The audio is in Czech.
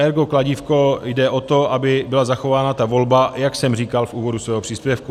Ergo kladívko jde o to, aby byla zachována ta volba, jak jsem říkal v úvodu svého příspěvku.